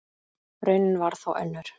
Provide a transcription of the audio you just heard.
Raunin varð þó önnur.